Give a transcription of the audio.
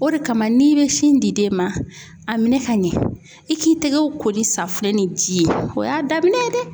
O de kama n'i bɛ sin di den ma a minɛ ka ɲɛ i k'i tɛgɛw ko ni safinɛ ni ji ye o y'a daminɛ ye dɛ.